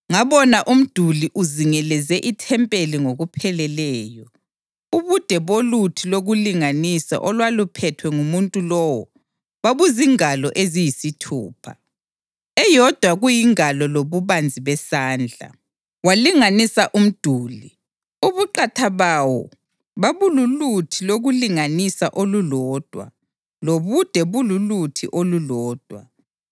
Ngabona umduli uzingeleze ithempeli ngokupheleleyo. Ubude boluthi lokulinganisa olwaluphethwe ngumuntu lowo babuzingalo eziyisithupha, eyodwa kuyingalo lobubanzi besandla. Walinganisa umduli; ubuqatha bawo babululuthi lokulinganisa olulodwa lobude bululuthi olulodwa.